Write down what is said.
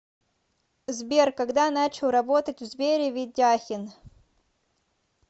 сбер когда начал работать в сбере ведяхин